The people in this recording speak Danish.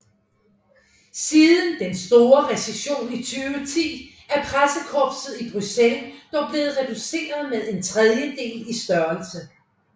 Siden Den store recession i 2010 er pressekorpset i Bruxelles dog blevet reduceret med en tredjedel i størrelse